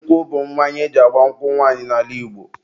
nkwụ bụ mmanya eji agba nkwụ nwanyị n'ala Igbo